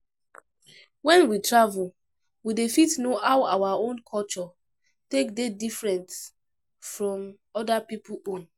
When we travel we dey fit know how our own culture take dey different from oda pipo own